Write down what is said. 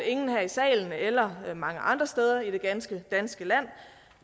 ingen her i salen eller mange andre steder i det ganske danske land